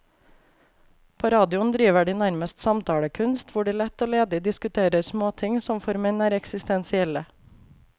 På radioen driver de nærmest samtalekunst, hvor de lett og ledig diskuterer småting som for menn er eksistensielle.